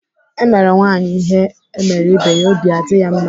Emere nwaanyị ihe emere ibe ya, obi adị ya mma.